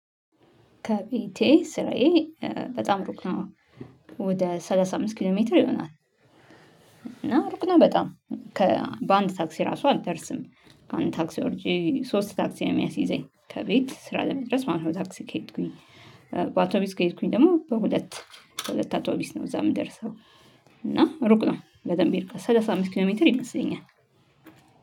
ከቤቴ ስራዬ በጣም ሩቅ ነው ወደ ሰላሳ አምስት ኪሎ ሜትር ይሆናል። እና ሩቅ ነው በጣም ከባንድ ታክሲ ራሱ አልደርስም። አንድ ታክሲ ወርጄ ሶስት ታክሲ ነው የሚያስይዘኝ ከቤት ስራ ለመድረስ ማለት ነው። በታክሲ ከሄድኩኝ በአውቶቢስ ከሄድኩኝ ደግሞ በሁለት በሁለት አውቶቢስ ነው እዛ የምደርሰው። እና ሩቅ ነው በደንብ ሄድክ ሰላሳ አምስት ኪሎ ሜትር ይመስለኛል።